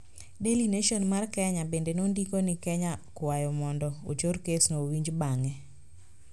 Daily Nation mar Kenya bende nondiko ni Kenya kwayo mondo ochor kesno owinj bang`e.